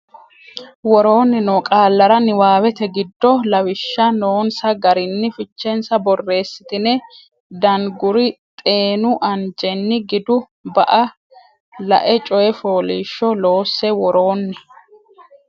Woroonni noo qaallara niwaawete giddo Lawishsha noonsa garinni fichensa borreessitine Danguri xeenu anjenni gidu ba a lae coy fooliishsho loosse Woroonni.